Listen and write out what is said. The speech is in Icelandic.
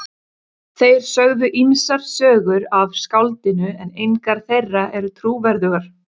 Þeir sögðu ýmsar sögur af skáldinu en engar þeirra eru trúverðugar.